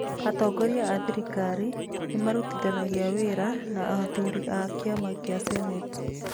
Atongoria a thirikari nĩ marutithanagia wĩra na athuri a kĩama kĩa senate.